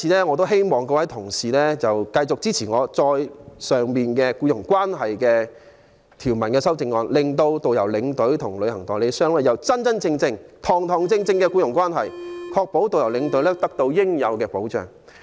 我希望各位議員繼續支持我動議有關僱傭關係的修正案，令導遊、領隊和旅行代理商訂立真真正正的僱傭關係，確保導遊、領隊得到應有的保障。